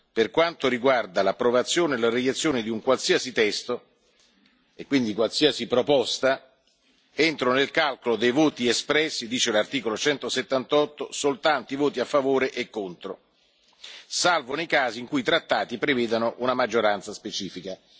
Per quanto riguarda l'approvazione della reiezione di un qualsiasi testo, e quindi di qualsiasi proposta, entrano nel calcolo dei voti espressi, dice l'articolo 178, soltanto i voti a favore e contro, salvo nei casi per i quali i trattati prevedano una maggioranza specifica.